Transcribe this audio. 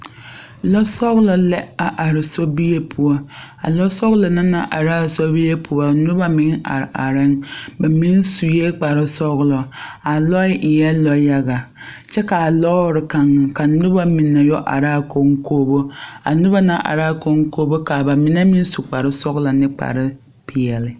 Lɔsɔglɔ la are sobie poɔ a lɔsɔglɔ na naŋ are a sobie poɔ noba meŋ are are la ba mine sue kparesɔglɔ a lɔɛ eɛ lɔyaga kyɛka a lɔɔre kaŋ ka noba mine yɔ are a koŋkobo a noba na naŋ are a koŋkobo ka ba mine meŋ su kparesɔglɔ ane kparepeɛlle.